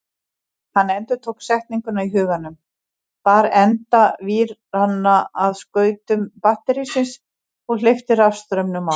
Hann endurtók setninguna í huganum, bar enda víranna að skautum batterísins og hleypti rafstraumnum á.